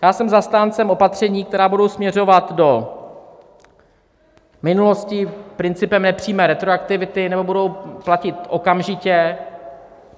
Já jsem zastáncem opatření, která budou směřovat do minulosti principem nepřímé retroaktivity, nebo budou platit okamžitě.